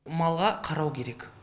малға қарау керек